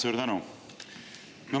Suur tänu!